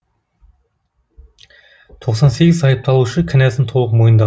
тоқсан сегіз айыпталушы кінәсін толық мойындады